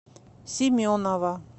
семенова